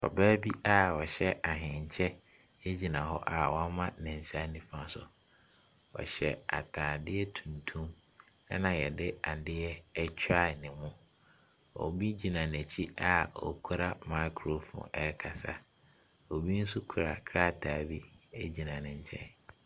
Ɔbaa bi a ɔhyɛ ahenkyɛ gyina hɔ, ɔhyɛ ataadeɛ tuntum a wama ne nsa nifa so. Ɔhyɛ ataadeɛ tuntum na yɛde adeɛ atwa anim. Obi gyina n'akyi a okura microphone ɛrekasa. Obi nso kura kraataa bi egyina ne nkyɛn.